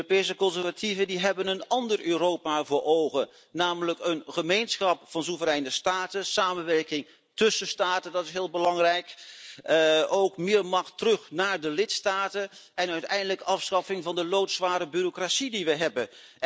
Europese conservatieven hebben een ander Europa voor ogen, namelijk een gemeenschap van soevereine staten, samenwerking tussen staten dat is heel belangrijk meer macht terug naar de lidstaten en uiteindelijk afschaffing van de loodzware bureaucratie die wij hebben.